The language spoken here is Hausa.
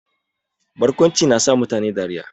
Barkwanci na sa mutane dariya